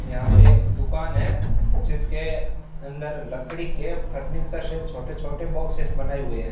यहां पे एक दुकान है जिसके अंदर लकड़ी के फर्नीचर से छोटे छोटे बॉक्सस बनाए हुए हैं।